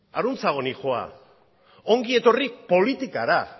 aruntzago noa ongi etorri politikara